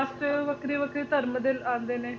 ਮਤਲਬ ਵੱਖਰੀ ਵੱਖਰੀ cast ਵੱਖਰੀ ਵੱਖਰੀ ਧਰਮ ਦੇ ਆਉਂਦੇ ਨੇ